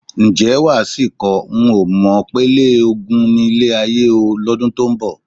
Ǹjẹ́ wà á sì kọ: "N ò mọ̀ pélé ogun nílé ayé o ...", lọ́dún tó ń bọ̀?